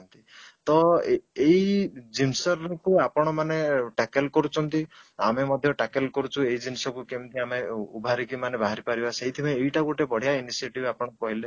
ତ ଏଇ ଜିନିଷ କୁ ଆପଣ ମାନେ taken କରୁଛନ୍ତି ଆମେ ମଧ୍ୟ taken କରୁଛୁ ଏଇ ଜିନିଷ କୁ କେମିତି ଆମ ମାନେ ବାହାରିପାରିବା ସେଇଥିପାଇଁ ଏଇଟା ଗୋଟେ ବଢିଆ initiative ଆପଣ କହିଲେ